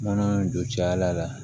Mana don caya la